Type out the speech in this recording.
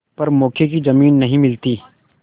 पर मौके की जमीन नहीं मिलती